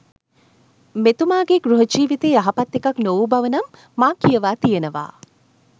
මෙතුමාගේ ගෘහ ජීවිතය යහපත් එකක් නොවූ බවනම් මා කියවා තියනවා.